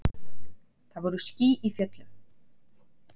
Það voru ský í fjöllum.